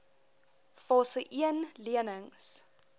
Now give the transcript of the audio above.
fase een lenings